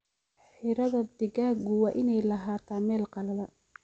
Xiradhaa digaagu waa inaay lahaataa meel qalalan.